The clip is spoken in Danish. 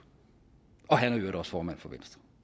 og han er i øvrigt også formand for